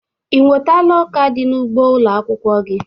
Ị nwọtala ọka di n'ugbo ụlọ akwụkwọ gị?